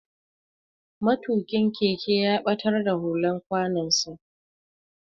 Matukin keke ya batar da hular kwanon sa.